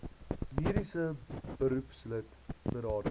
mediese beroepslid berading